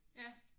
Ja